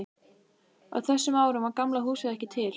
Á þessum árum var Gamla húsið ekki til.